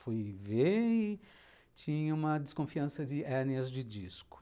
Fui ver e tinha uma desconfiança de hérnias de disco.